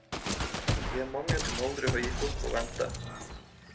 Vi er mange som aldri har gitt opp å vente.